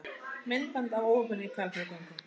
Myndband af óhappinu í Hvalfjarðargöngum